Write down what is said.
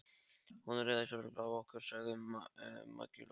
Hún ræðst örugglega á okkur, sagði Maggi Lóu.